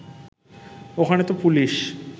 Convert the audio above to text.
ওখানে তো পুলিশ